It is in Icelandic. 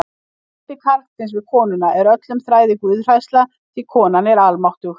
Ótti karlsins við konuna er öðrum þræði guðhræðsla því konan er almáttug.